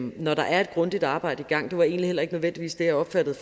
når der er et grundigt arbejde i gang det var egentlig heller ikke nødvendigvis det jeg opfattede